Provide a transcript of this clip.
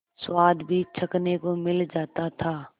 स्वाद भी चखने को मिल जाता था